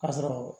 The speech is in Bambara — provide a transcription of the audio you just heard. Ka sɔrɔ